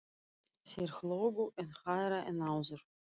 Þeir hlógu enn hærra en áður.